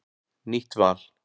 Nýtt val